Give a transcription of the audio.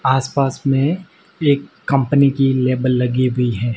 आसपास में एक कंपनी की लेबल लगी हुई है।